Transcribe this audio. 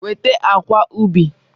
Weta akwa ubi!